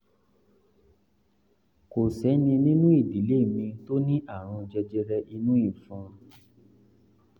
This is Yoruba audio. kò sẹ́ni nínú ìdílé mi tó ní àrùn jẹjẹrẹ inú ìfun